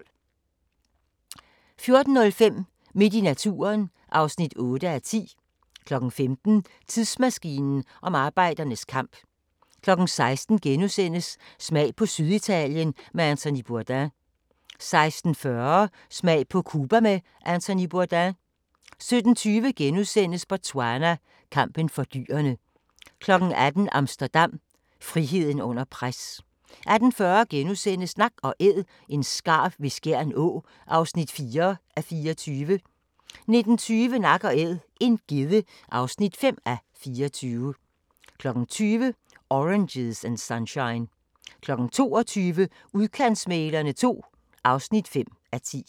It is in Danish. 14:05: Midt i naturen (8:10) 15:00: Tidsmaskinen om arbejdernes kamp 16:00: Smag på Syditalien med Anthony Bourdain * 16:40: Smag på Cuba med Anthony Bourdain 17:20: Botswana: Kampen for dyrene * 18:00: Amsterdam – friheden under pres 18:40: Nak & Æd – en skarv ved Skjern Å (4:24)* 19:20: Nak & æd - en gedde (5:24) 20:00: Oranges and Sunshine 22:00: Udkantsmæglerne II (5:10)